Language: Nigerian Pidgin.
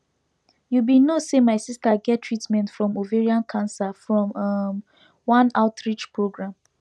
you be no say my sister get treatment from ovarian cancer from um one outreach program